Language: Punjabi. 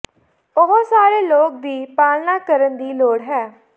ਉਹ ਸਾਰੇ ਲੋਕ ਦੀ ਪਾਲਣਾ ਕਰਨ ਦੀ ਲੋੜ ਹੈ